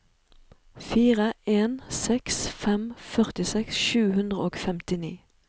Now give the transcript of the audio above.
fire en seks fem førtiseks sju hundre og femtini